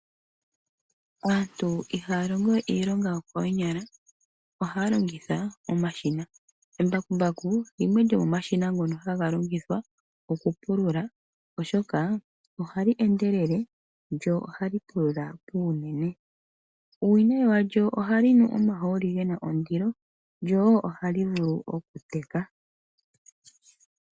Aantu ihaa longo we iilonga yokoonyala ihe ohaa longitha omashina. Embakumbaku limwe lyomo mashina ngoka haga longithwa okupulula oshoka oha li endelele noonkondo lyo oha li pulula puunene. Uuwinayi walyo oha li nu omahooli ge na ondilo na oha li vulu okuteka.